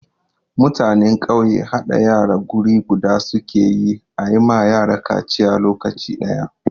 Mutanen ƙauye haɗa yara guri guda su ke yi a yi ma yara kaciya lokaci ɗaya.